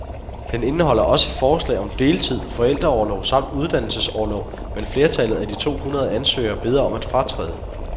Den indeholder også forslag om deltid, forældreorlov samt uddannelsesorlov, men flertallet af de to hundrede ansøgere beder om at fratræde.